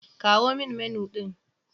Kawo min Menu ɗin.